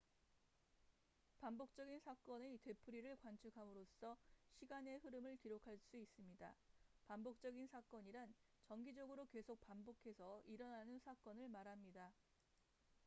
반복적인 사건의 되풀이를 관측함으로써 시간의 흐름을 기록할 수 있습니다 반복적인 사건이란 정기적으로 계속 반복해서 일어나는 사건을 말합니다